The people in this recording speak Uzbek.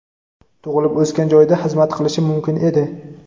tug‘ilib o‘sgan joyida xizmat qilishi mumkin edi.